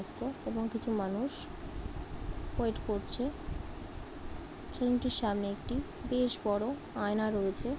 রাস্তা এবং কিছু মানুষ ওয়েট করছে সামনে একটি বেশবড়ো আয়না রয়েছে ।